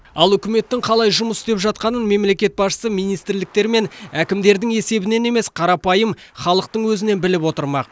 ал үкіметтің қалай жұмыс істеп жатқанын мемлекет басшысы министрліктер мен әкімдердің есебінен емес қарапайым халықтың өзінен біліп отырмақ